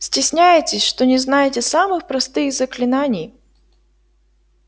стесняетесь что не знаете самых простых заклинаний